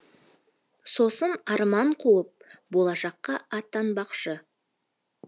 сосын арман қуып болашаққа аттанбақшы